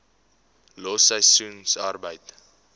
los seisoensarbeid